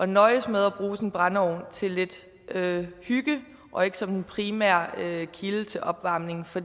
nøjes med at bruge sin brændeovn til lidt hygge og ikke som den primære kilde til opvarmning for